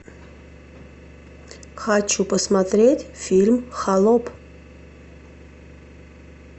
хочу посмотреть фильм холоп